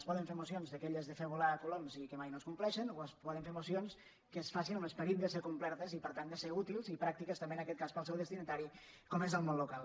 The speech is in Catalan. es poden fer mocions d’aque·lles de fer volar coloms i que mai no es compleixen o es poden fer mocions que es facin amb l’esperit de ser complertes i per tant de ser útils i pràctiques tam·bé en aquest cas per al seu destinatari com és el món local